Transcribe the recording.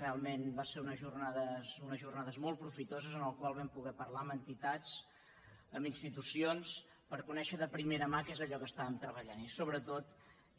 realment van ser unes jornades molt profitoses en les quals vam poder parlar amb entitats amb institucions per conèixer de primera mà què era allò que estàvem treballant i sobretot